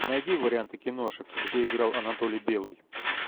найди варианты киношек где играл анатолий белый